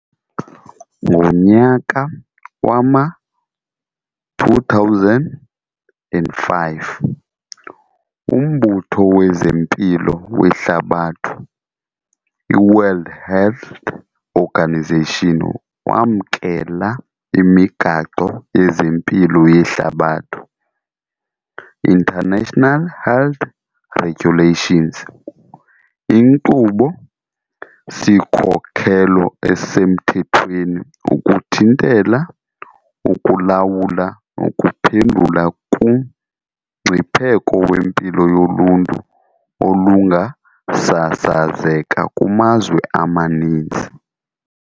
Ngonyaka wama-2005, uMbutho wezeMpilo weHlabathi, iWorld Health Organisation, wamkela iMigaqo yezeMpilo yeHlabathi, International Health Regulations, inkqubo-sikhokelo esemthethweni ukuthintela, ukulawula nokuphendula kumngcipheko wempilo yoluntu olungasasazeka kumazwe amaninzi.